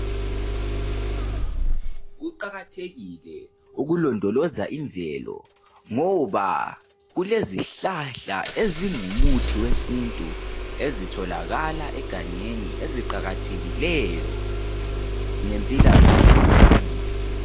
Kuqakathekile ukulondoloza imvelo ngoba kulezihlahla ezingumuthi wesintu ezitholakala egangeni eziqakathekileyo ngempilakahle yomuntu.